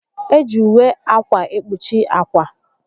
Eji ùwé ákwà ekpuchi ákwà